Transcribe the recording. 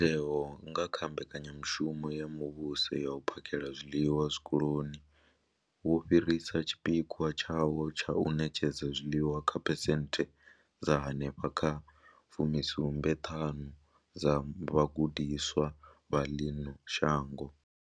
Mutheo, nga kha mbekanyamushumo ya muvhuso ya u phakhela zwiḽiwa zwikoloni, wo fhirisa tshipikwa tshawo tsha u ṋetshedza zwiḽiwa kha phesenthe dza henefha kha 75 dza vhagudiswa vha ḽino shango.